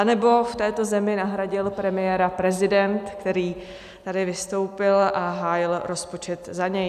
Anebo v této zemi nahradil premiéra prezident, který tady vystoupil a hájil rozpočet za něj?